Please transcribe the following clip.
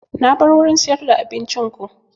Na bar wurin siyar da abincin ko